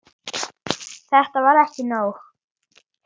Hvað segirðu um þau ummæli?